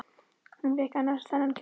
Hvar fékk hún annars þennan kjól?